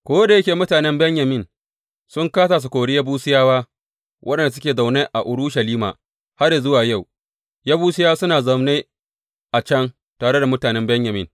Ko da yake mutanen Benyamin sun kāsa su kori Yebusiyawa, waɗanda suke zaune a Urushalima; har yă zuwa yau, Yebusiyawa suna zaune a can tare da mutanen Benyamin.